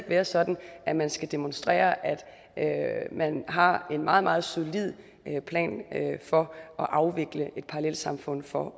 være sådan at man skal demonstrere at man har en meget meget solid plan for at afvikle et parallelsamfund for